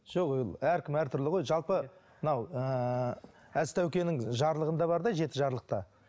жоқ ол әркім әртүрлі ғой жалпы мынау ыыы әзтәукенің жарлығында бар да жеті жарлықта